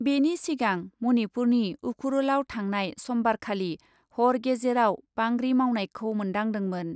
बेनि सिगां मनिपुरनि उखरुलआव थांनाय समबारखालि हर गेजेराव बांग्रि मावनायखौ मोन्दांदोंमोन ।